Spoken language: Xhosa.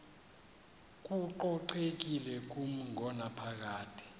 kococekile kumi ngonaphakade